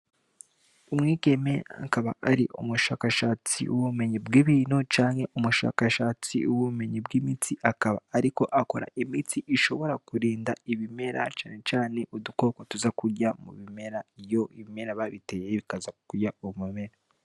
Umwigeme akaba ari umushakashatsi wubumenyi bw' ibintu canke umushakashatsi wumenyi bw' imiti akaba, ariko akora imiti ishobora kurinda ibimera cane cane udukoko tuza kurya mu bimera iyo ibimera babiteyeye bikaza kurya uwumumera.